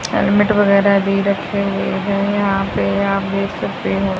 Helmet वगैरह भी रखे हुए है यहां पे आप देख सकते हो।